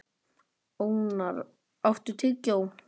Ónarr, áttu tyggjó?